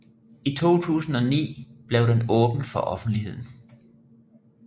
I 2009 blev den åbnet for offentligheden